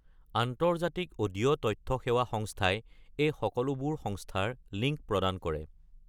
আন্তৰ্জাতিক অডিঅ’ তথ্য সেৱা সংস্থাই এই সকলোবোৰ সংস্থাৰ লিংক প্ৰদান কৰে।